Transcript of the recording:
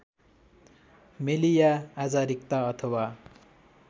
मेलिया आजारिक्ता अथवा